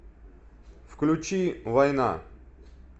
включи война